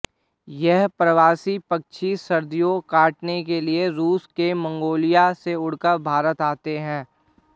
यह प्रवासी पक्षी सर्दियां काटने के लिए रूस और मंगोलिया से उड़कर भारत आते हैं